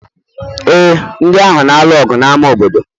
ee, ndị ahụ na-alụ ọgụ n'ámá obodo